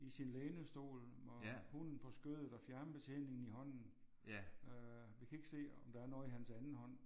I sin lænestol og hunden på skødet og fjernbetjeningen i hånden. Øh jeg kan ikke se om der er noget i hans anden hånd